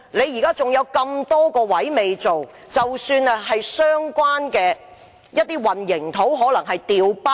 現在還有很多位置未進行測試，還有混凝土可能被"調包"。